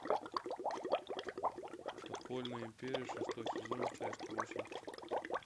подпольная империя шестой сезон часть восемь